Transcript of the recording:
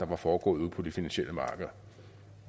var foregået ude på de finansielle markeder